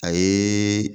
A ye